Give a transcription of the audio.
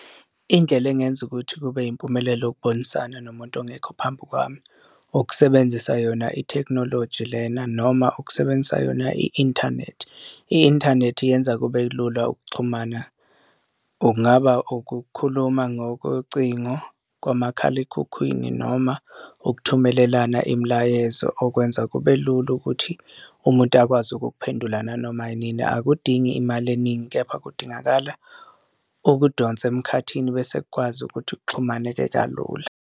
Indlela engenza ukuthi kube yimpumelelo ukubonisana nomuntu ongekho phambi kwami ukusebenzisa yona ithekhinoloji lena noma ukusebenzisa yona i-inthanethi, i-inthanethi yenza kube kulula ukuxhumana. Okungaba ukukhuluma ngokocingo kwamakhalekhukhwini noma ukuthumelelana imilayezo okwenza kube lula ukuthi umuntu akwazi ukukuphendula nanoma inini, akudingi imali eningi kepha kudingakala ukudonsa emkhathini bese kukwazi ukuthi kuxhumaneke kalula.